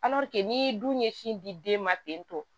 n'i dun ɲɛsin di den ma ten tɔ